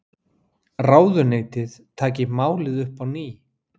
Ráðuneytið taki málið upp á ný